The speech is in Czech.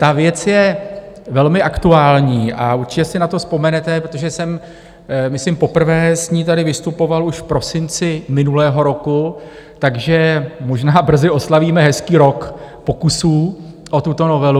Ta věc je velmi aktuální a určitě si na to vzpomenete, protože jsem myslím poprvé tady s ní vystupoval už v prosinci minulého roku, takže možná brzy oslavíme hezký rok pokusů o tuto novelu.